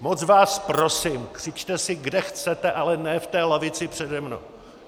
Moc vás prosím, křičte si, kde chcete, ale ne v té lavici přede mnou!